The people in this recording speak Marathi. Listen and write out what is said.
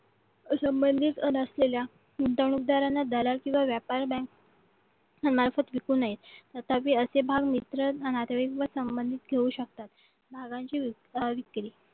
संबंधित असलेल्या गुंतवणूकदारांना दलाल किंवा व्यापार बँक तथापि असे भाग मित्र नातेवाईक संबंधित ठेऊ शकतात भागांची अविक्री